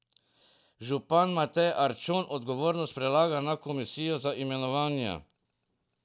Župan Matej Arčon odgovornost prelaga na komisijo za imenovanja.